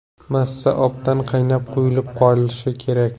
Massa obdan qaynab, quyulib qolishi kerak.